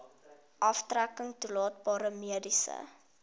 aftrekking toelaatbare mediese